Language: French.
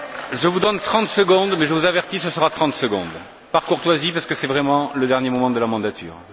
Je vous donne 30 secondes mais, je vous avertis, ce sera 30 secondes, par courtoisie, parce que ce sont vraiment les derniers moments de la législature.